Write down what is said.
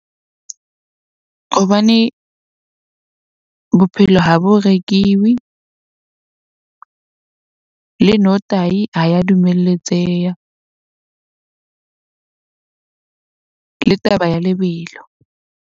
Hobane bophelo ha bo rekiswe le notahi ha ya dumeletseha le taba ya lebelo.